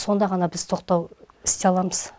сонда ғана біз тоқтау істей аламыз